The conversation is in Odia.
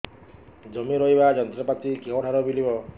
ଜମି ରୋଇବା ଯନ୍ତ୍ରପାତି କେଉଁଠାରୁ ମିଳିବ